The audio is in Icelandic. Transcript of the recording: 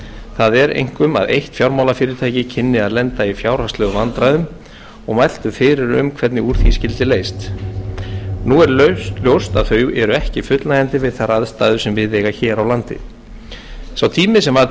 það er einkum að eitt fjármálafyrirtæki kynni að lenda í fjárhagslegum vandræðum og mæltu fyrir um hvernig úr því skyldi leyst nú er ljóst að þau eru ekki fullnægjandi við þær aðstæður sem við eiga hér á landi sá tími sem var til